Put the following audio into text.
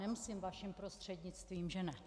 Nemusím vaším prostřednictvím, že ne?